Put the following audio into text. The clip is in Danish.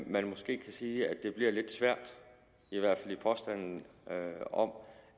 man måske kan sige at det bliver lidt svært i hvert fald i påstanden om